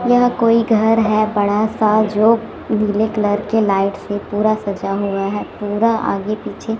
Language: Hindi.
यह कोई घर है बड़ा सा जो नीले कलर के लाइट से पूरा सजा हुआ है पूरा आगे पीछे--